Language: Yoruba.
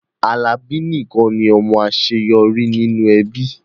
Alani nikan ni ọmọ aṣeyọri ninu ẹbi